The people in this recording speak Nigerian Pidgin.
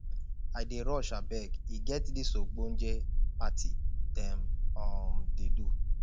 i dey rush abeg e get dis ogbonge party dem um dey do